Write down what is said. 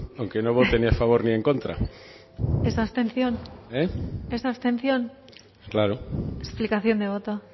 aunque no vote ni a favor ni en contra es abstención claro explicación de voto